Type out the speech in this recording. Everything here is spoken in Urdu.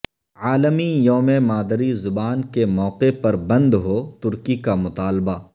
عالمی یوم مادری زبان کے موقع پر بندھوترکی کا مطالبہ